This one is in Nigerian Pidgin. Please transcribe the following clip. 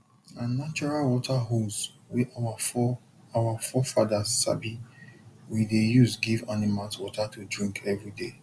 na natural water holes wey our fore our fore fathers sabi we dey use give animals water to drink everyday